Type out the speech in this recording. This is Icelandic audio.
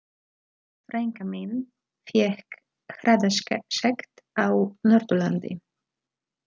Frænka mín fékk hraðasekt á Norðurlandi.